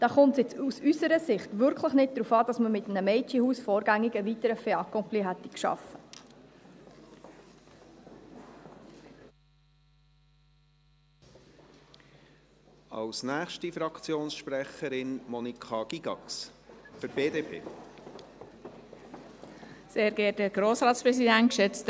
Da kommt es jetzt aus unserer Sicht wirklich nicht darauf an, dass man mit einem Mädchenhaus vorgängig ein weiteres Fait accompli geschaffen hätte.